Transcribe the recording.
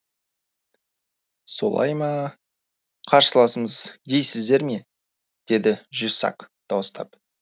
солай ма қарсыласамыз дейсіздер ме деді де жюссак дауыстап